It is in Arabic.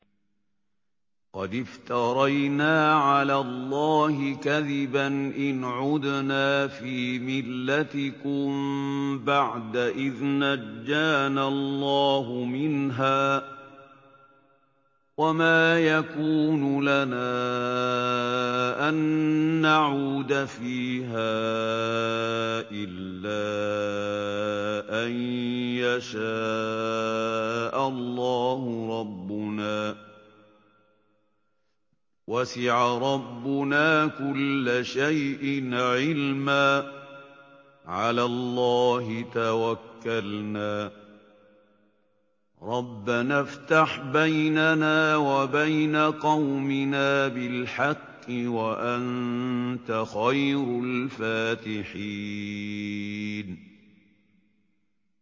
قَدِ افْتَرَيْنَا عَلَى اللَّهِ كَذِبًا إِنْ عُدْنَا فِي مِلَّتِكُم بَعْدَ إِذْ نَجَّانَا اللَّهُ مِنْهَا ۚ وَمَا يَكُونُ لَنَا أَن نَّعُودَ فِيهَا إِلَّا أَن يَشَاءَ اللَّهُ رَبُّنَا ۚ وَسِعَ رَبُّنَا كُلَّ شَيْءٍ عِلْمًا ۚ عَلَى اللَّهِ تَوَكَّلْنَا ۚ رَبَّنَا افْتَحْ بَيْنَنَا وَبَيْنَ قَوْمِنَا بِالْحَقِّ وَأَنتَ خَيْرُ الْفَاتِحِينَ